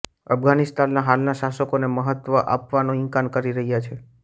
અફઘાનિસ્તાનના હાલના શાસકોને મહત્વ આપવાનો ઇનકાર કરી રહ્યા છે